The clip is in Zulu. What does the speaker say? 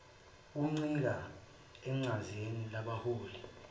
kuncike eqhazeni labaholi